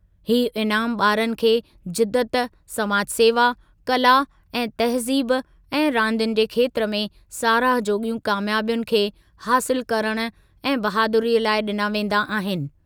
हीअ इनामु ॿारनि खे जिदत, समाज सेवा, कला ऐं तहज़ीब ऐं रांदियुनि जे खेत्रु में साराह जोॻियूं क़ामयाबियुनि खे हासिलु करणु ऐं बहादुरीअ लाइ ॾिना वेंदा आहिनि।